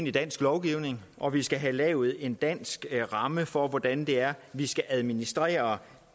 i dansk lovgivning og vi skal have lavet en dansk ramme for hvordan det er vi skal administrere